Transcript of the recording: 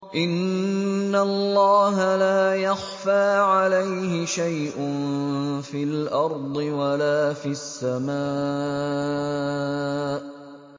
إِنَّ اللَّهَ لَا يَخْفَىٰ عَلَيْهِ شَيْءٌ فِي الْأَرْضِ وَلَا فِي السَّمَاءِ